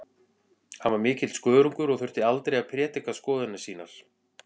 Hann var mikill skörungur og þurfti aldrei að prédika skoðanir sínar.